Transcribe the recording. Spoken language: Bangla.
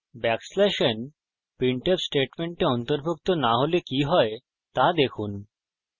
\n printf স্টেটমেন্টে অন্তর্ভুক্ত না হলে কি হয় দেখুন